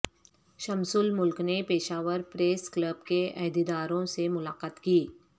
شمس الملک نے Peshawar press club کے عہدیداروں سے ملاقات کی